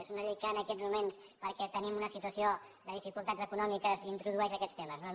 és una llei que en aquests moments perquè tenim una situació de dificultats econòmiques introdueix aquests temes no no